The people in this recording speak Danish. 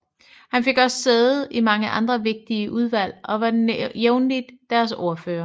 Han fik også sæde i mange andre vigtige udvalg og var jævnlig deres ordfører